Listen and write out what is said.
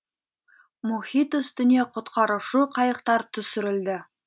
мұхит үстіне құтқарушы қайықтар түсірілді